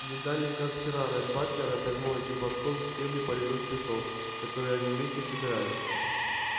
не далее как вчера ретт батлер обернул этим платком стебли полевых цветов которые они вместе собирали